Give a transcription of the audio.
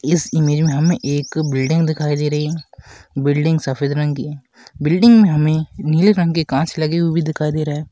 इस इमेज में हमें एक बिल्डिंग दिखाई दे रही बिल्डिंग सफ़ेद रंग की बिल्डिंग में हमें नीले रंग की कांच लगे हुए दिखाई दे रहे है।